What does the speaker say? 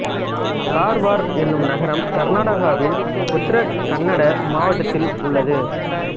கார்வார் என்னும் நகரம் கர்நாடகாவின் உத்தர கன்னட மாவட்டத்தில் உள்ளது